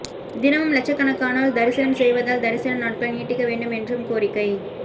தினமும் லட்சக்கணக்கானோர் தரிசனம் செய்வதால் தரிசன நாட்களை நீட்டிக்க வேண்டும் என்றும் கோரிக்கை